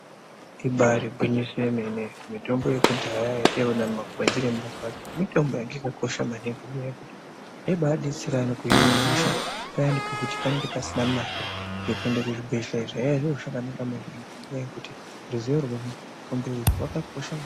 Ibari gwinyiso remene mitombo yekudhaya yataiona mumakwenzi nemumakwasha mitombo yakakosha maningi ngenyaya yekuti inobadetsera kuhina hosha payani pekuti panenge pasina mare yekuenda kuzvibhedhlera zvaive zviri zviro zvakanaka maningi ngekuti ruzivo rwemutombo uyu wakakosha maningi.